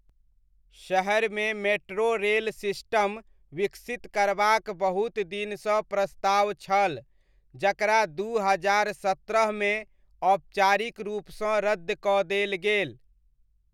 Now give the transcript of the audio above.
शहरमे metro rail system विकसित करबाक बहुत दिनसँ प्रस्ताव छल, जकरा दू हजार सत्रहमे औपचारिक रूपसँ रद्द कऽ देल गेल।